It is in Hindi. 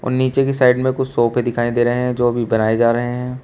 और नीचे की साइड में कुछ सोफे दिखाई दे रहे हैं जो अभी बनाए जा रहे हैं।